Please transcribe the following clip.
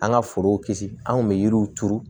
An ka forow kisi an kun bɛ yiriw turu